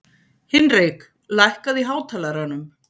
Hinrik, lækkaðu í hátalaranum.